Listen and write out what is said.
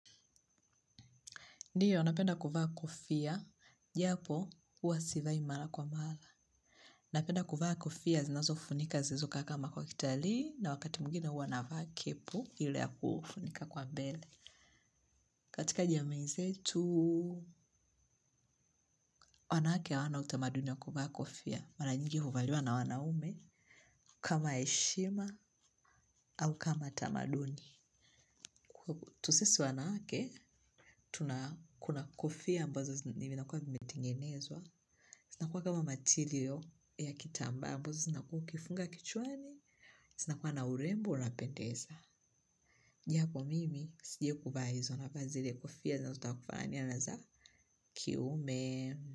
Ndiyo, napenda kuvaa kofia. Japo, huwa sivai mara kwa mara. Napenda kuvaa kofia, zinazofunika zilizokaa kama kwa kitalii, na wakati mwingine huwa navaa kepu, ile ya kufunika kwa mbele. Katika jamii zetu wanawake hawana utamaduni wa kuvaa kofia. Mara nyingi huvaliwa na wanaume, kama heshima, au kama tamaduni. Tu sisi wanawake, tuna kuna kofia ambazo vinakuwa vimetengenezwa. Zinakuwa kama material ya kitambaa ambazo zinakuwa ukifunga kichwani. Zinakuwa na urembo unapendeza. Japo mimi, sijaikuvaa hizo navaa zile kofia zinazotaka kufanania na za kiume.